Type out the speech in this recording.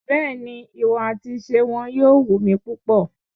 Bẹ́ẹ̀ni, ìwà àti ìṣe wọn yóò wù mí púpọ̀.